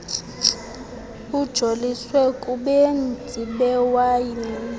ijoliswe kubenzi bewayini